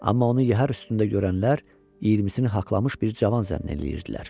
Amma onu yəhər üstündə görənlər 20-sini haqlamış bir cavan zənn eləyirdilər.